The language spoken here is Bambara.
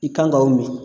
I kan ka o min